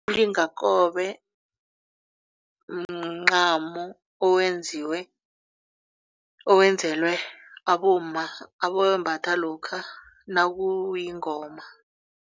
Umlingakobe mncamo owenziwe owenzelwe abomma abawembatha lokha nakuyingoma.